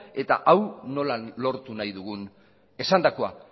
eta hau nola lortu nahi dugun esandakoa